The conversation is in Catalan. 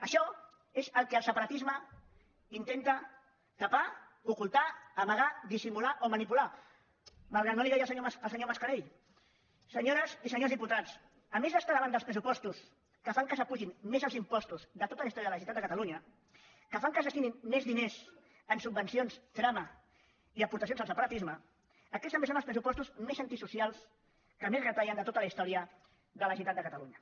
això és el que el separatisme intenta tapar ocultar amagar dissimular o manipular malgrat que no li agradi al senyor mascarell senyores i senyors diputats a més d’estar davant dels pressupostos que fan que s’apugin més els impostos de tota la història de la generalitat de catalunya que fan que es destinin més diners a subvencions trama i aportacions al separatisme aquests també són els pressupostos més antisocials que més retallen de tota la història de la generalitat de catalunya